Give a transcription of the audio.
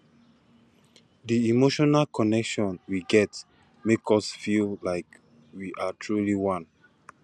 di emotional connection we get make us feel like we are truly one